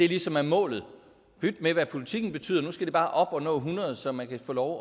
ligesom er målet pyt med hvad politikken betyder nu skal man bare op og nå hundrede så man kan få lov